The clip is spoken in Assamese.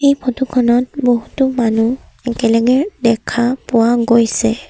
এই ফটো খনত বহুতো মানুহ একেলগে দেখা পোৱা গৈছে।